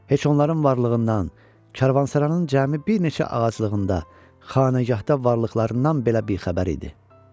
Heç onların varlığından, karvansaranın cəmi bir neçə ağaclığında, xanəgahda varlıqlarından belə bixəbər idi.